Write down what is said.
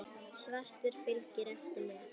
Svartur fylgir eftir með.